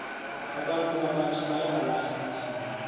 abantu abatjha bayawalahla amasiko